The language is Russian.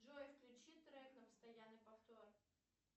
джой включи трек на постоянный повтор